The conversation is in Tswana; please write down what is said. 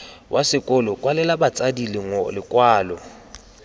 wa sekolo kwalela batsadi lekwalo